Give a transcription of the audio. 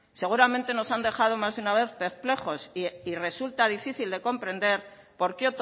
seguramente nos han dejado más de una vez perplejos y resulta difícil de comprender por qué